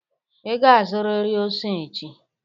Ị ga-azụrịrị ose echi!